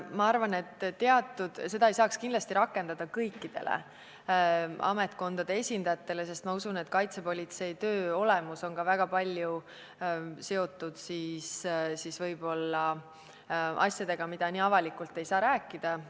Ma arvan, et seda ei saaks kindlasti rakendada kõikide ametkondade esindajatele, sest näiteks kaitsepolitsei töö võib väga palju olla seotud asjadega, millest ei saa nii avalikult rääkida.